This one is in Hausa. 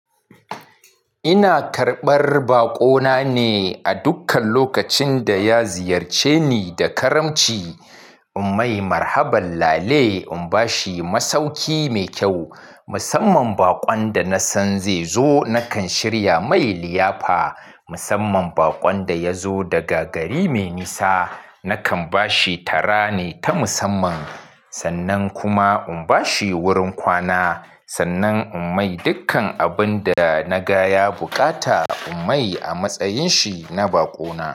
Ina karɓar baƙo na ne a dukkan lokacin da ya ziyarce ni da karamci. In mai marhaban lale, in bashi masauki mai kyau. Musamman baƙon da nasan zai zo nakan shirya mai liyafa. Musamman baƙon da yazo daga gari mai nisa, nakan bashi tara ne ta musamman. Sannan kuma in bashi wurin kwana. Sannan in mai dikkan abun da na gaya buƙata in mai a matsayin shi na baƙo na.